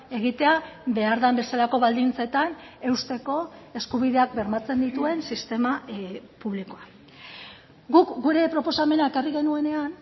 egitea behar den bezalako baldintzetan eusteko eskubideak bermatzen dituen sistema publikoa guk gure proposamena ekarri genuenean